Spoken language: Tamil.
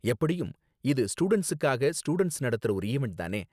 எப்படியும் இது ஸ்டூடண்ட்ஸுக்காக ஸ்டூடண்ட்ஸ் நடத்துற ஒரு ஈவண்ட் தானே?